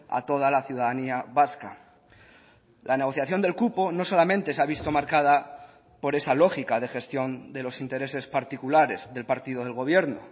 a toda la ciudadanía vasca la negociación del cupo no solamente se ha visto marcada por esa lógica de gestión de los intereses particulares del partido del gobierno